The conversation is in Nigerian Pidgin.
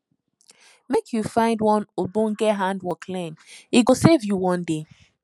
make you find one ogbonge handwork learn e go save you one day